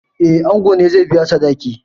Eh, ango ne zai biya sadaki.